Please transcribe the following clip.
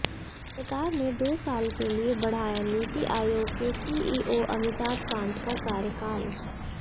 सरकार ने दो साल के लिए बढ़ाया नीति आयोग के सीईओ अमिताभ कांत का कार्यकाल